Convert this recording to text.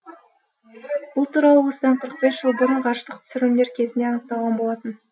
бұл туралы осыдан қырық бес жыл бұрын ғарыштық түсірілімдер кезінде анықталған болатын